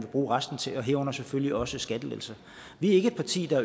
bruge resten til herunder selvfølgelig også skattelettelser vi er ikke et parti der